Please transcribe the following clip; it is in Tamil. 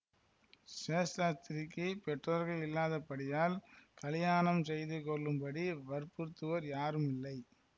சேஷாத்ரிக்குப் பெற்றோர்கள் இல்லாதபடியால் கலியாணம் செய்து கொள்ளும்படி வற்புறுத்துவோர் யாருமில்லை